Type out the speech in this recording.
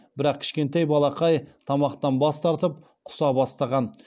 бірақ кішкентай балақай тамақтан бас тартып құса бастаған